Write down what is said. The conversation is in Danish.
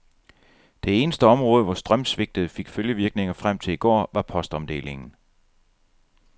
Det eneste område, hvor strømsvigtet fik følgevirkninger frem til i går, var postomdelingen.